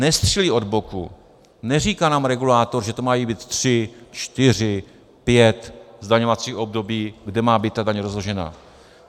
Nestřílí od boku, neříká nám regulátor, že to mají být tři, čtyři, pět zdaňovacích období, kde má být ta daň rozložena.